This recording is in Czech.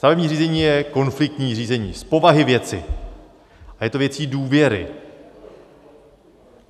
Stavební řízení je konfliktní řízení z povahy věci a je to věcí důvěry.